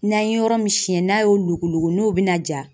N'an ye yɔrɔ min siɲɛ n'a y'o logolo n'o bɛna ja